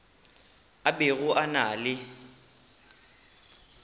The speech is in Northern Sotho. a bego a na le